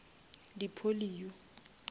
di polio